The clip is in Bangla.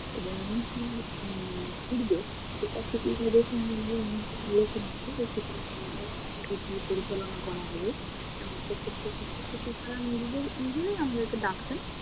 এবং অনুষ্ঠানের উম পূর্বে শিক্ষক শিক্ষিকাদের পরিচালনা করা হয়ে, এবং সেই শিক্ষক শিক্ষিকারা নিজেদের আমাদেরকে ডাকতেন,